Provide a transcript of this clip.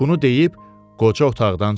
Bunu deyib qoca otaqdan çıxdı.